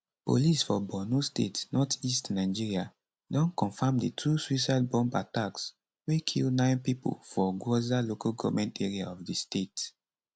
police for borno state northeast nigeria don confam di two suicide bomb attacks wey kill nine pipo for gwoza local goment area of di state